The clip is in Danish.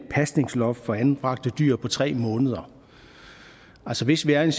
et pasningsloft for anbragte dyr på tre måneder hvis vi er i